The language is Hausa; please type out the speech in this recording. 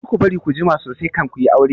Kada ku bari ku jima sosai kan ku yi aure!